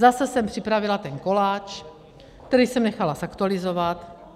Zase jsem připravila ten koláč, který jsem nechala zaktualizovat.